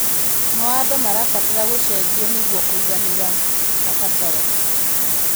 Mawatho marabatara gũcenjio nĩguo kũiganĩria mabataro.